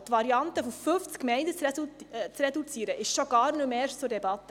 Die Variante einer Reduktion auf 50 Gemeinden stand schon gar nicht mehr zur Debatte.